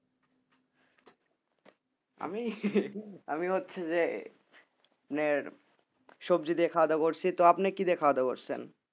আমি আমি হচ্ছে যে মানে সবজি দিয়ে খাওয়া দাওয়া করছি, তো আপনি কি দিয়ে খাওয়া দাওয়া করছেন?